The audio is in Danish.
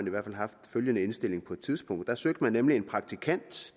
i hvert fald haft følgende indstilling på et tidspunkt der søgte man nemlig en ulønnet praktikant